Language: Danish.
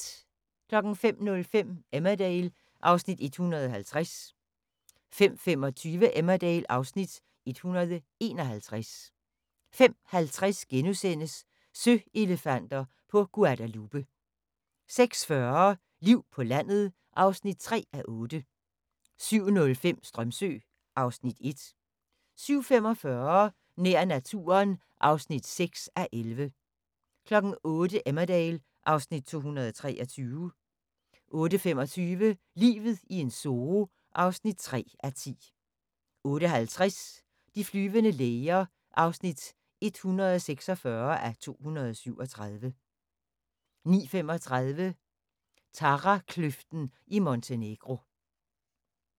05:05: Emmerdale (Afs. 150) 05:25: Emmerdale (Afs. 151) 05:50: Søelefanter på Guadalupe * 06:40: Liv på landet (3:8) 07:05: Strömsö (Afs. 1) 07:45: Nær naturen (6:11) 08:00: Emmerdale (Afs. 223) 08:25: Livet i en zoo (3:10) 08:50: De flyvende læger (146:237) 09:35: Tarakløften i Montenegro